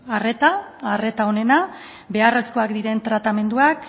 arreta arreta onena beharrezkoak diren tratamenduak